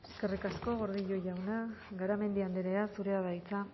eskerrik asko gordillo jauna garamendi andrea zurea da hitza